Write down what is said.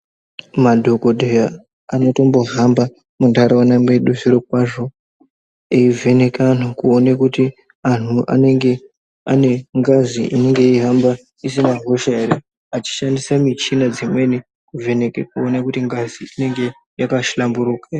Madhokodheya anotombohamba mundaraunda mwedu zvirokwazvo eivheneka antu kuona kuti antu anenge ane ngazi inenge yeihamba isina hosha ere achishandisa michina dzimweni kuvheneka kuona kuti ngazi inge yakahlamburuka.